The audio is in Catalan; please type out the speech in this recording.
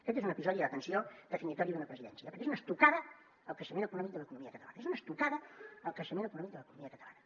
aquest és un episodi atenció definitori d’una presidència perquè és una estocada al creixement econòmic de l’economia catalana és una estocada al creixement econòmic de l’economia catalana